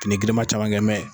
Nin girinma caman kɛnmɛn.